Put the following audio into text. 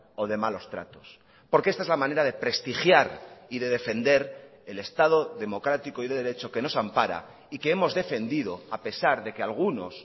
o de malos tratos porque esta es la manera de prestigiar y de defender el estado democrático y de derecho que nos ampara y que hemos defendido a pesar de que algunos